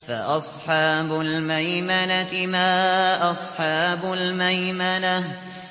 فَأَصْحَابُ الْمَيْمَنَةِ مَا أَصْحَابُ الْمَيْمَنَةِ